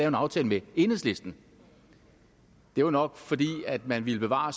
en aftale med enhedslisten det var nok fordi man ville bevare